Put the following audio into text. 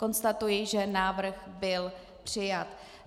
Konstatuji, že návrh byl přijat.